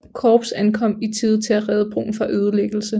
Korps ankom i tide til at redde broen fra ødelæggelse